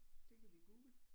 Det kan vi Google